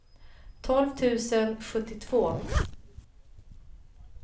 tolv tusen sjuttiotvå